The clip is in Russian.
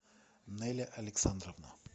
неля александровна